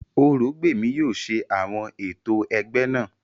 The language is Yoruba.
Orògbèmí yóò ṣe àwọn ètò ẹgbẹ́ náà